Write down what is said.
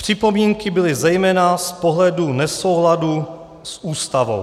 Připomínky byly zejména z pohledu nesouladu s Ústavou.